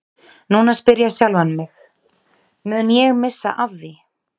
Núna spyr ég sjálfan mig, mun ég missa af því?